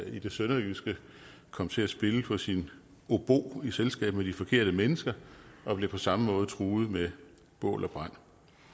i det sønderjyske kom til at spille på sin obo i selskab med de forkerte mennesker og blev på samme måde truet med bål og brand